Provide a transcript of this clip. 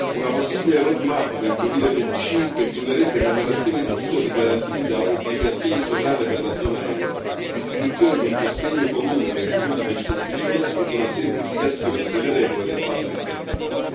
Una possibile roadmap per il 2025 includerebbe l'emanazione di titoli garantiti da obbligazioni sovrane per la zona euro, l'istituzione di un sostegno comune per il fondo di risoluzione e una semplificazione delle regole del patto di stabilità.